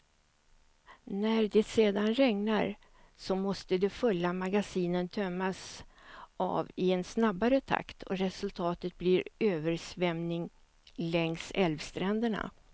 När det sedan regnar, så måste de fulla magasinen tömmas av i en snabbare takt och resultatet blir översvämning längs älvstränderna.